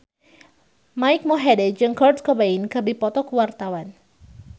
Mike Mohede jeung Kurt Cobain keur dipoto ku wartawan